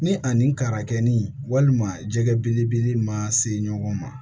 Ni a nin karakɛni walima jɛgɛ belebele ma se ɲɔgɔn ma